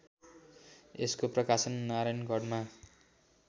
यसको प्रकाशन नारायणगढमा